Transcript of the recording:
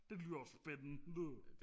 det lyder spændende